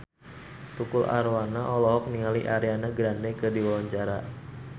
Tukul Arwana olohok ningali Ariana Grande keur diwawancara